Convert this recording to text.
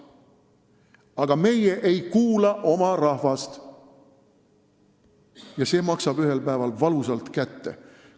Aga meie ei kuula oma rahvast ja see maksab ühel päeval valusalt kätte.